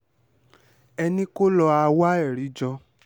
ẹ ní kó lọá wá ẹ̀rí jọ